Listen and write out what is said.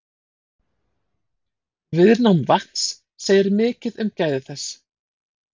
Viðnám vatns segir mikið um gæði þess.